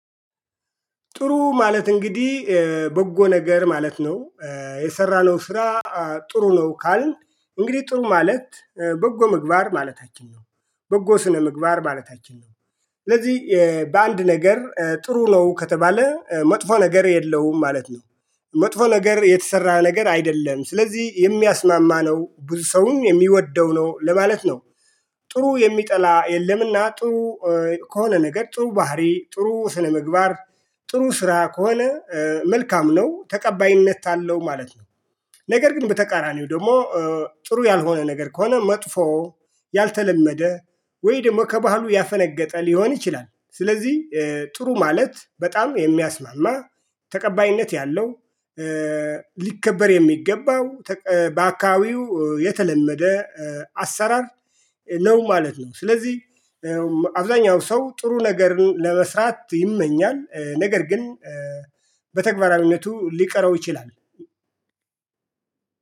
ጥሩ ማለት እንግዲህ በጎ ነገር ማለት ነው። የሰራነው ስራ ጥሩ ነው ካልን እንግዲህ ጥሩ ማለት በጎ ምግባር ማለታችን ነው። በጎ ስነ ምግባር ማለታችን ነው። ስለዚህ በአንድ ነገር ጥሩ ነው ከተባለ መጥፎ ነገር የለውም ማለት ነው። መጥፎ ነገር የተሰራ ነገር አይደለም ስለዚህ የሚያስማማ ነው ብዙ ሰውም የሚወደው ነው ለማለት ነው። ጥሩ የሚጠላ የለምና ጥሩ ከሆነ ነገር ጥሩ ባህሪ ጥሩ ስነምግባር ጥሩ ስራ ከሆነ መልካም ነው ተቀባይነት አለው ማለት ነው። ነገር ግን በተቃራኒው ደግሞ ጥሩ ያልሆነ ነገር ከሆነ መጥፎ ያልተለመደ ወይ ደግሞ ከባህሉ ያፈነገጠ ሊሆን ይችላል። ስለዚህ ጥሩ ማለት በጣም የሚያስማማ ተቀባይነት ያለው። ሊከበር የሚገባው ባአካባቢው የተለመደ አሰራር ነው ማለት ነው። ስለዚህ አብዛኛው ሰው ጥሩ ነገርን ለመስራት ይመኛል ነገር ግን በተግባራዊነቱ ሊቀረው ይችላል።